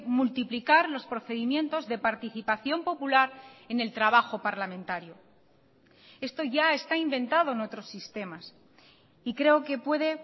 multiplicar los procedimientos de participación popular en el trabajo parlamentario esto ya está inventado en otros sistemas y creo que puede